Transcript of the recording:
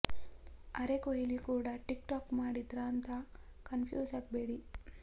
ಅರೆ ಕೊಹ್ಲಿ ಕೂಡಾ TikTok ಮಾಡಿದ್ರಾ ಅಂತ ಕನ್ಫ್ಯೂಸ್ ಆಗ್ಬೇಡಿ